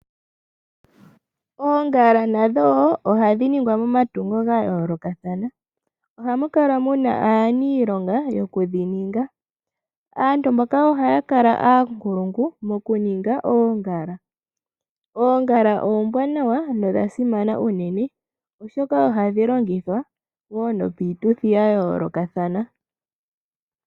Oongala nadho wo ohadhi ningwa momatungo ga yoolokathana, ohamu kala muna aaniilonga yokudhi ninga, aantu mboka ohaya kala oonkulungu mokuninga oongala. Oongala oombwaanawa dho odha simana uunene , oshoka ohadhi longithwa wo nopiituthi ya yoolokathana